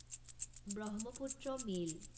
Brahmaputra mail